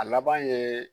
A laban ye